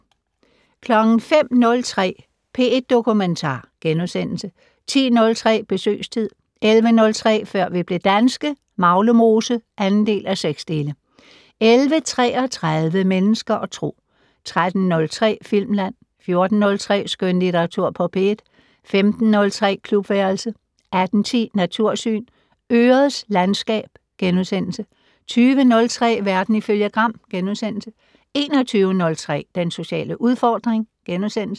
05:03: P1 Dokumentar * 10:03: Besøgstid 11:03: Før vi blev danske - Maglemose (2:6) 11:33: Mennesker og Tro 13:03: Filmland 14:03: Skønlitteratur på P1 15:03: Klubværelset 18:10: Natursyn: Ørets landskab * 20:03: Verden ifølge Gram * 21:03: Den sociale udfordring *